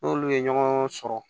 N'olu ye ɲɔgɔn sɔrɔ